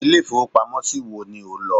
Ilé ìfowópamó ṣí wo ni ò nlò